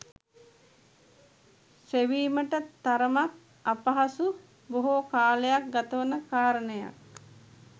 සෙවීමට තරමක් අපහසු, බොහෝ කාලයක් ගතවන කාරණයක්.